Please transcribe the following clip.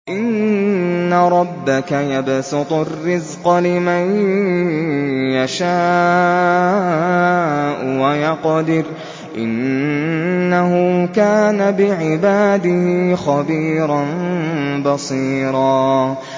إِنَّ رَبَّكَ يَبْسُطُ الرِّزْقَ لِمَن يَشَاءُ وَيَقْدِرُ ۚ إِنَّهُ كَانَ بِعِبَادِهِ خَبِيرًا بَصِيرًا